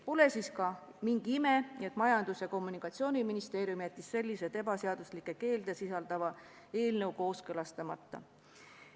Pole siis mingi ime, et Majandus- ja Kommunikatsiooniministeerium jättis selliseid ebaseaduslikke keelde sisaldava eelnõu kooskõlastamata.